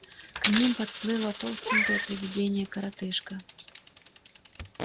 к ним подплыло толстенькое привидение-коротышка